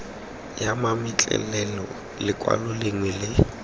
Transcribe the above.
ya mametlelelo lekwalo lengwe le